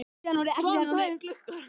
Svan, hvað er klukkan?